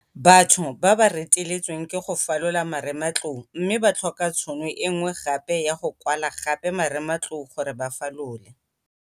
Batho ba ba reteletsweng ke go falola marematlou mme ba tlhoka tšhono e nngwe gape ya go kwala gape marematlou gore ba falole.